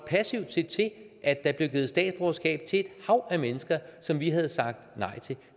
se til at der blev givet statsborgerskab til et hav af mennesker som vi havde sagt nej til